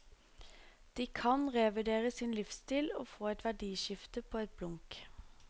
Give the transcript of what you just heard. De kan revurdere sin livsstil og få et verdiskifte på et blunk.